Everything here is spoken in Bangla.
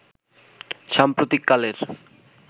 সাম্প্রতিক কালের